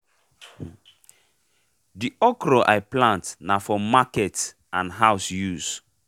de okra i plant na for market and house use